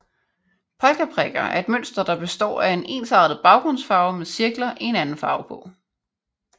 Polkaprikker er et mønster der består af en ensartet baggrundsfarve med cirkler i en anden farve på